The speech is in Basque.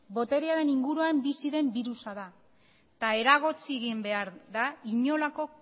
boterearen inguruan bizi den birusa da eta eragotzi egin behar da inolako